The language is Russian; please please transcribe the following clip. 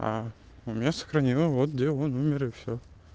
у меня сохранила вот где он умер и все